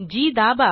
Gदाबा